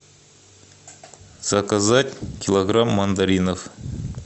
заказать килограмм мандаринов